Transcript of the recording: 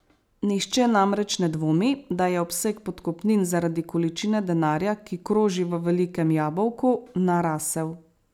Nihče namreč ne dvomi, da je obseg podkupnin zaradi količine denarja, ki kroži v velikem jabolku, narasel.